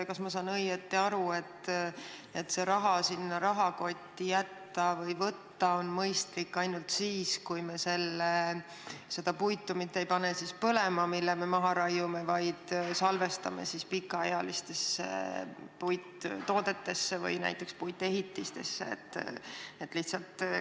Kas ma saan õigesti aru, et raha võiks rahakotti jätta ja välja võtta on seda mõistlik ainult siis, kui me seda puitu, mille me maha raiume, mitte ei pane põlema, vaid salvestame pikaealistesse puittoodetesse, näiteks puitehitistesse?